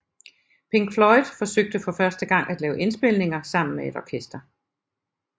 Pink Floyd forsøgte for første gang at lave indspilninger sammen med et orkester